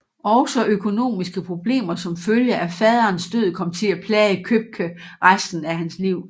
Også økonomiske problemer som følge af faderens død kom til at plage Købke resten af hans liv